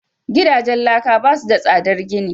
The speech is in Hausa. gidajen laka ba su da tsadar gini